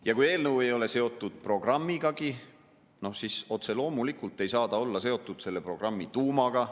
Ja kui eelnõu ei ole seotud programmigagi, siis otse loomulikult ei saa ta olla seotud selle programmi tuumaga.